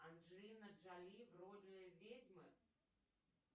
анджелина джоли в роли ведьмы